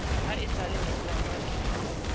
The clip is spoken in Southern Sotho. ha esale ke tswalwa ke